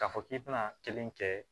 K'a fɔ k'i bɛna kelen kɛ